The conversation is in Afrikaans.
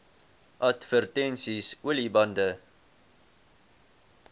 advertensies olie bande